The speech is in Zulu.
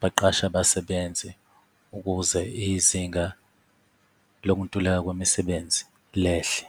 baqashe abasebenzi ukuze izinga lokuntuleka kwemisebenzi lehle.